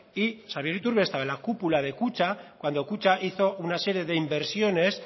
y xabier iturbe estaba en la cúpula de kutxa cuando kutxa hizo una serie de inversiones